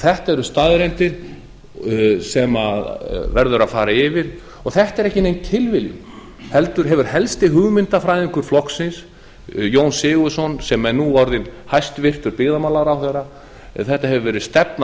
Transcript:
þetta eru staðreyndir sem verður að fara yfir og þetta er ekki nein tilviljun heldur hefur helsti hugmyndfræðingur flokksins jón sigurðsson sem er nú orðinn hæstvirtur byggðamálaráðherra þetta hefur verið stefna